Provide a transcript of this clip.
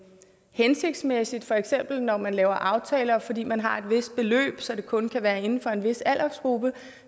hensigtsmæssigt for eksempel når man laver aftaler fordi man har et vist beløb så det kun kan være inden for en vis aldersgruppe